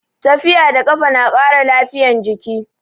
Tafiya da kafa na ƙara lafiyan jiki